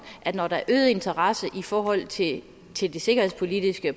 at når der er øget interesse i forhold til til det sikkerhedspolitiske